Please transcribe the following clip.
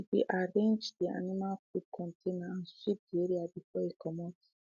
she be arranged de animal food container and sweep de area before e comot